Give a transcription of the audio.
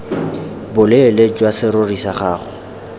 boleele jwa serori sa gago